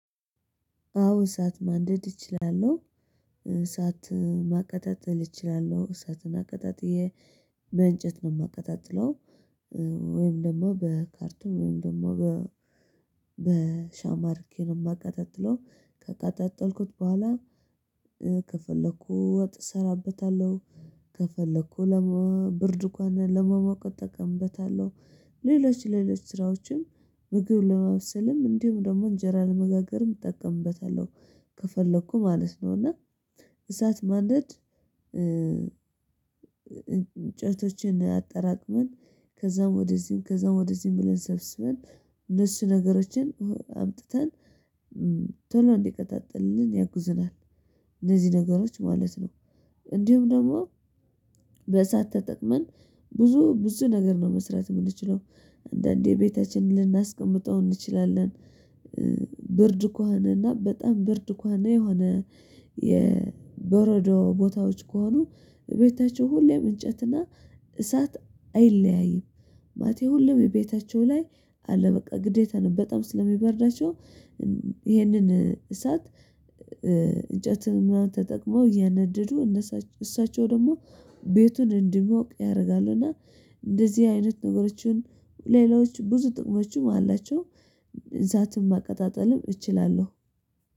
አዎ እሳት ማንደድ እችላለሁ። እሳት ማቀጣጠል እችላለሁ እሳትን አቀጣጥዬ በእንጨት ነው የማቀጣጥለው። ወይም ደግሞ በካርቶን ወይም ደግሞ በሻማ አድርጌ ነው የማቀጣጥለው። ከቃጣጠልኩት በኋላ። ከፈለኩ ወጥ እሰራበታለሁ። ከፈለኩ ለመ ብርድ ከሆነ ለመሞቅ እጠቀምበታለሁ። ሌሎች ሌሎች ስራዎችም ምግብ ለማብሰልም እንዲሁም ደግሞ እንጀራ ለመጋገርም እጠቀምበታለሁ። ከፈለኩ ማለት ነው እና እሳት ማንደድ። እንጨቶችን አጠራቅመን ከዛም ወደዚህም ከዛም ወደዚህም ብለን ሰብስበን እነሱ ነገሮችን አምጥተን ቶሎ እንዲቀጣጥልን ያግዝናል። እነዚህ ነገሮች ማለት ነው። እንዲሁም ደግሞ በእሳት ተጠቅመን ብዙ ብዙ ነገር ነው መስራት የምንችለው። አንዳንዴ ቤታችን ልናስቀምጠው እንችላለን። ብርድ ከሆነና በጣም ብርድ እንኳን የሆነ የበረዶ ቦታዎች ከሆኑ ቤታቸው ሁሌም እንጨትና እሳት አይለያይም። ማለቴ ሁሌም ቤታቸው ላይ አለ በቃ ግዴታ ነው በጣም ስለሚበርዳቸው። ይሄንን እሳት እንጨትን ምናምን ተጠቅሞ እያነደዱ እሳቸው ደግሞ ቤቱን እንዲሞቅ ያደርጋሉና እንደዚህ አይነት ነገሮችን ሌሎች ብዙ ጥቅሞችም አላቸው። እሳትም ማቀጣጠልም እችላለሁ